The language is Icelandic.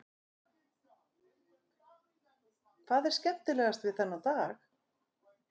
Magnús: Hvað er skemmtilegast við þennan dag?